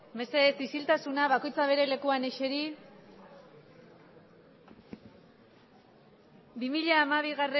mesedez isiltasuna bakoitza bere lekuan eseri bi mila hamabi